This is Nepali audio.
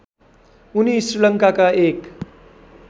उनि श्रीलङ्काका एक